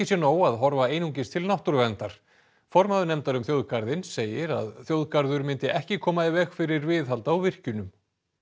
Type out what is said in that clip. sé nóg að horfa einungis til náttúruverndar formaður nefndar um þjóðgarðinn segir að þjóðgarður myndi ekki koma í veg fyrir viðhald á virkjunum